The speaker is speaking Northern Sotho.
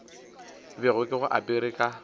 bego ke bo apere ka